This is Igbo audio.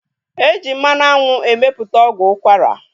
E ji mmanụ anwụ emeputa ọgwụ ukwara